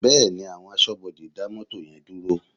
Bẹ́ẹ̀ni, àwọn aṣọ́bodè dá mọ́tò yẹn dúró?